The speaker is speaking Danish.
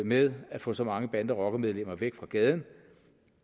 med at få så mange bande og rockermedlemmer væk fra gaden